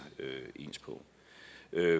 ens på